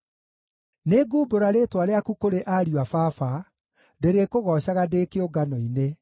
Nĩngumbũra rĩĩtwa rĩaku kũrĩ ariũ a baba; ndĩrĩkũgoocaga ndĩ kĩũngano-inĩ.